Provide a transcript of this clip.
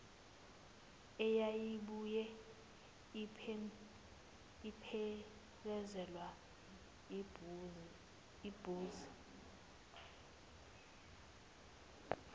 eyayibuye iphelezelwe yibhuzu